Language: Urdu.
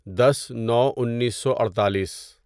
دس نو انیسو اڑتالیس